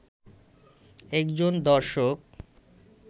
একজন দর্শক